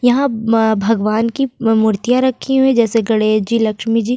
यहाँ भगवान की मूर्तियां रखी हुई जैसे गणेश जी लक्ष्मी जी --